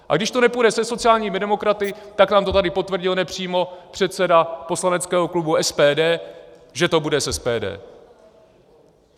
A když to nepůjde se sociálními demokraty, tak nám to tady potvrdil nepřímo předseda poslaneckého klubu SPD, že to bude s SPD.